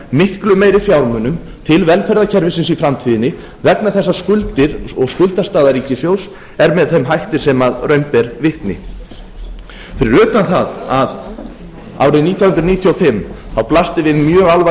miklu meiri fjármunum til velferðarkerfisins í framtíðinni vegna þess að skuldir og skuldastaða ríkissjóðs er með þeim hætti sem raun ber vitni fyrir utan það að árið nítján hundruð níutíu og fimm blasti við mjög